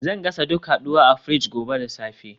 Zan gasa duk haduwa a fridge gobe da safe